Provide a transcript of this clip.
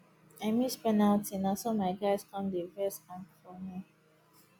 i miss penalty naso my guys come dey vex um for me